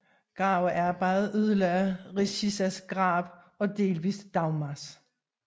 Gravearbejdet ødelagde Richizas grav og delvis Dagmars